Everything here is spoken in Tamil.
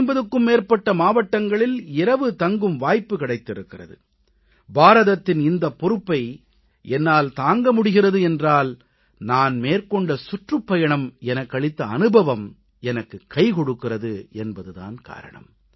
450க்கும் மேற்பட்ட மாவட்டங்களில் இரவில் தங்கும் வாய்ப்பு கிடைத்திருக்கிறது பாரதத்தின் இந்தப் பொறுப்பை என்னால் தாங்க முடிகிறது என்றால் நான் மேற்கொண்ட சுற்றுப்பயணங்கள் எனக்களித்த அனுபவம் எனக்குக் கைகொடுக்கிறது என்பது தான் காரணம்